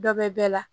Dɔ bɛ bɛɛ la